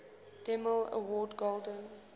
demille award golden